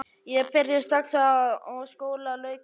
Ég byrjaði strax og skóla lauk í vor.